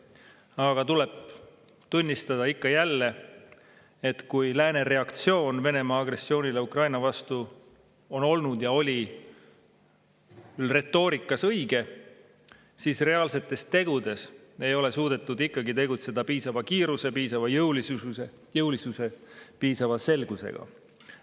Aga ikka ja jälle tuleb tunnistada, et kuigi lääne reaktsioon Venemaa agressioonile Ukraina vastu on olnud ja oli retoorikas õige, ei ole reaalsetes tegudes ikkagi suudetud tegutseda piisava kiiruse, piisava jõulisuse ja piisava selgusega.